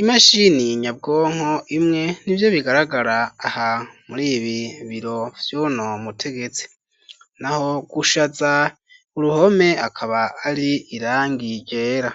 imashini nyabwonko imwe, nivyo bigaragara, aha muri ibi biro, vy'uno mutegetsi; naho gushaza, uruhome hakaba, hari irangi ryera.